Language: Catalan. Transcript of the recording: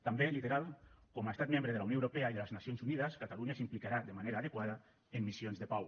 també literal com a estat membre de la unió europea i de les nacions unides catalunya s’implicarà de manera adequada en missions de pau